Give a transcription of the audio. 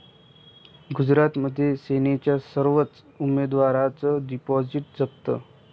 गुजरातमध्ये सेनेच्या सर्वच उमेदवारांचं डिपॉझिट जप्त